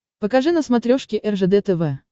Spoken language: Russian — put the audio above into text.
покажи на смотрешке ржд тв